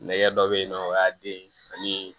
Nɛgɛ dɔ bɛ yen nɔ o y'a den ani